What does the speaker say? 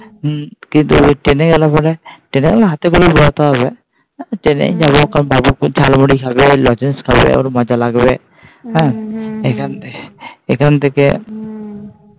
কিন্তু Train গেলে পরে Train গেলে হাতে করে বইতে হবে। Train যাবো কারন বাবু খুব ঝালমুড়ি খাবে লজেন্স খাবে ওর মজা লাগবে। এখান থেকে এখান থেকে